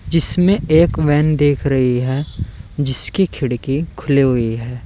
जिसमे एक वैन दिख रही है जिसकी खिड़की खुली हुई है।